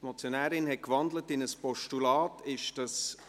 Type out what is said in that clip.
Die Motionärin hat in ein Postulat gewandelt.